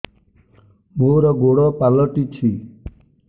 ମୋର ଗୋଡ଼ ପାଲଟିଛି